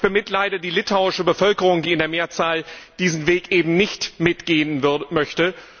Ich bemitleide die litauische Bevölkerung, die in der Mehrzahl diesen Weg eben nicht mitgehen möchte.